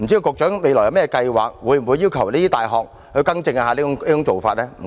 局長未來會否計劃要求這些大學更正這種做法？